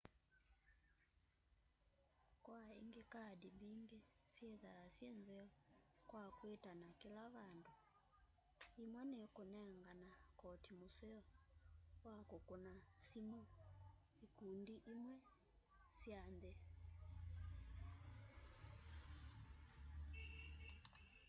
kwaĩngĩ kaadĩ mbĩngĩ syĩtha sye nzeo kwa kwitana kĩla vandũ ĩmwe nĩ nengana kotĩ mũseo wa kũkũna sĩmũ ĩkũndĩ ĩmwe sya nthĩ